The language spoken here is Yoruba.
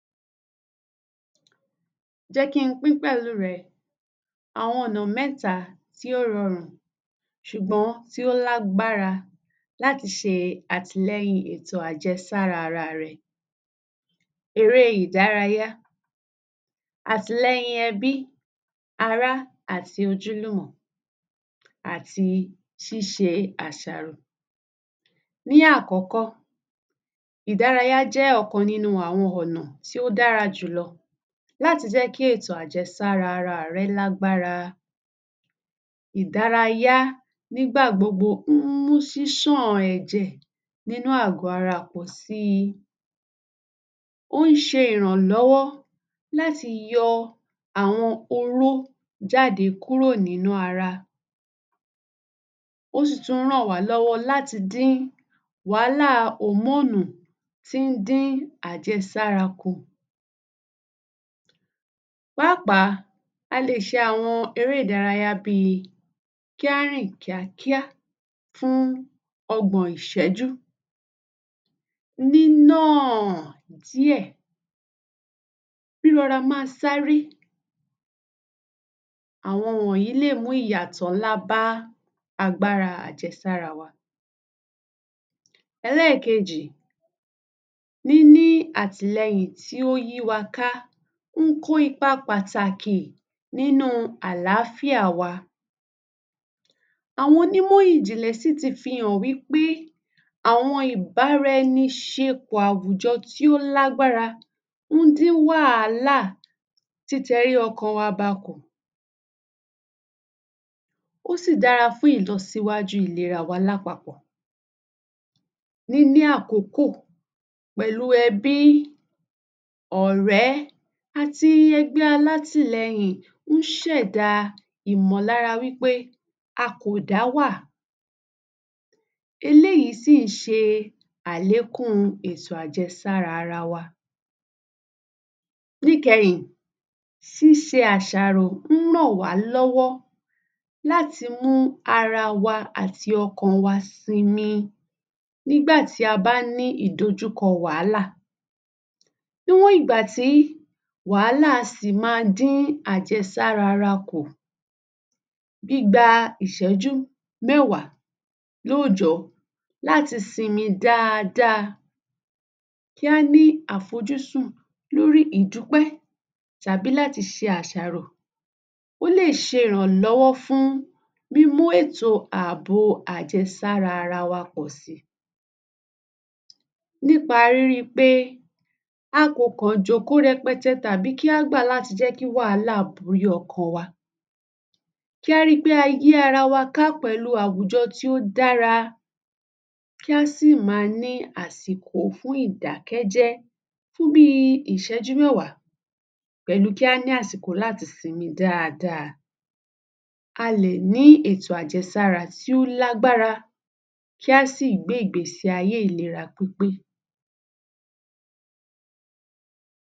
Jẹ́ kí n pín pẹ̀lú rẹ àwọn ọ̀nà mẹ́ta tí ó rọrù̃ ṣùgbọ́n tí ó lágbára láti ṣe àtìlẹyìn ètò àjẹsára ara rẹ, eré ìdárayá àtìlẹyìn ẹbí, ará àti ojúlùmọ̀ àti ṣíṣe àṣàrò. Ní àkọ́kọ́, ìdárayá jẹ́ ọ̀kan nínú àwọn ọ̀nà tí ó dára jù lọ láti jẹ́ kí ètò àjesára ara rẹ lágbára. Ìdárayá nígbà gbogbo ń mú ṣísàn àwọn ẹ̀jẹ̀ nínú àgọ́ ara pọ̀ sí. Ó ń ṣe ìrànlọ́wọ́ láti yọ àwọn owó jáde kúrò nínú ara, ó sì tún ń ràn wá lọ́wọ́ láti dún wàhálà hòmóònù fún dún àjesára kù. Pàápàá a lè ṣe àwọn eré ìdárayá bí kí á rìn kíákíá fún ọgbọ̀n ìṣẹ́jú. Nínà díẹ̀, rírọra má sáré, àwọn ò ní lè múyàtọ̀ ńlá bá agbára àjẹsára wa. Ẹlẹ́ẹ̀kejì níní àtìlẹyìn tí ó yí wa ká kíkún ipa pàtàkì nínú àlàfíà wa, àwọn onímọ̀ ìjìnlẹ̀ sì tún fi hàn wípé àwọn ìbáraẹniṣepọ̀ àwùjọ tí ó lágbára ń dín wàhálà títẹrí ọkàn wa bakọ̀, ó sì dára fún ìlọsíwájú ìlera wa lápapọ̀, nínú àkókò pẹ̀lú ẹbí, ọ̀rẹ́ àti gbogbo alátìlẹyìn ń ṣẹ̀dá ìmọ̀lára wípé a kò dá wà. Eléyìí sì ń ṣe àlékún ètò àjesára ara wa. Níkẹyìn ṣíṣe àsàrò ń ràn wá lọ́wọ́ láti mú ara wa àti ọkàn wa sinmi nígbàtí a bá ní ìdojúkọ wàhálà, níwọ̀n ìgbà tí wàhálà a sì mó dín àjẹsára ara kù gbígba ìṣẹ́jú mẹ́wàá lóòjọ́ láti sinmi dáada. Kí á ní àfojúsùn lórí ìdúpẹ́ tàbí láti ṣe àṣàrò, ó lè ṣe ìrànlọ́wọ́ fún mímú ètò àbò àjesára ara wa pọ̀ sí nípa rírí pé a kò kàn jòkó rẹpẹte tàbí kí á gbà láti jẹ́ kí wàhálà borí ọkàn wa. Kí á rí pé a yí ara wa ká pẹ̀lú àwùjọ tí ó dára. Kí á sì má ní àsìkò fún ìdákẹ́jé fún bí ìṣẹ́jú mẹ́wàá pẹ̀lú kí á ní àsìkò láti sinmi dáada. A lè ní ètò àjesára tí ó lágbára kí á sí gbé ìgbé ayé ìlera pípé.